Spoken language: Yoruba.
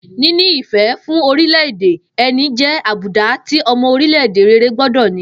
Níní ìfé̩ fún orilé̩-èdè e̩ni jé̩ àbùdá tí o̩mo̩ orílè̩-èdè rere gbó̩dò̩ ní